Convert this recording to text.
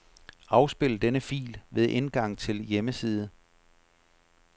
Afspil denne fil ved indgang til hjemmeside.